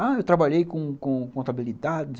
Ah, eu trabalhei com com com contabilidade, não sei o quê.